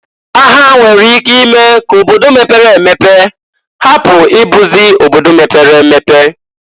Agha nwere ike ime k'obodo mepere emepe hapu ibuzi obodo mepere emepe.